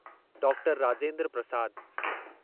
doctor Rajendra Prasad